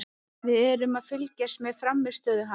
Við erum að fylgjast með frammistöðu hans.